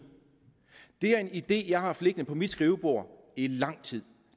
er en idé jeg har haft liggende på mit skrivebord i lang tid